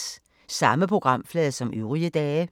Samme programflade som øvrige dage